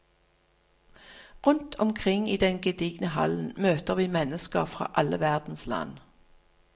Rundt omkring i den gedigne hallen møter vi mennesker fra alle verdens land.